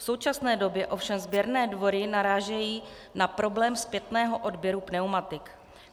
V současné době ovšem sběrné dvory narážejí na problém zpětného odběru pneumatik.